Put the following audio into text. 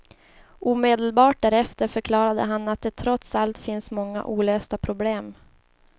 Omedelbart därefter förklarade han att det trots allt finns många olösta problem.